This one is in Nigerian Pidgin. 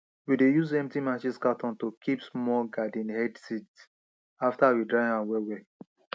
we dey use empty matches cartoon to kip small garden egg seed after we dry am well well